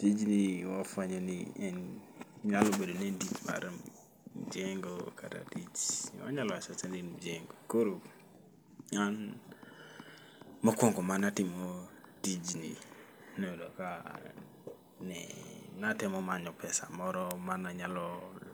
Tijni wafwenyo ni en nyalo bedo ni en tich mar mjengo kata tich, wanyalo wacha wacha ni en mjengo. Koro an mokwongo manatimo tijni noyudo ka ne natemo manyo pesa moro mananyalo